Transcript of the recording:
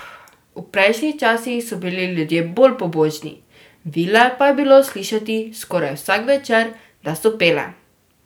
V prejšnjih časih so bili ljudje bolj pobožni, vile pa je bilo slišati skoraj vsak večer, da so pele.